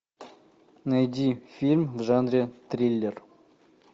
найди фильм в жанре триллер